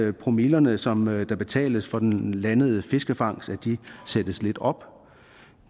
at promillerne som der betales for den landede fiskefangst sættes lidt op